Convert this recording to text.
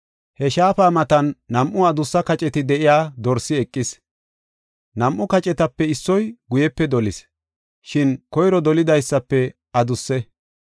He shaafa matan nam7u adussa kaceti de7iya dorsi eqis. Nam7u kacetape issoy guyepe dolis; shin koyro dolidaysafe adusse.